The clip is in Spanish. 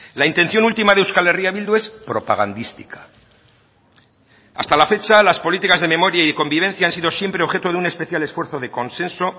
la intención última de euskal herria bildu es propagandística hasta la fecha las políticas de memoria y convivencia han sido siempre objeto de un especial esfuerzo de consenso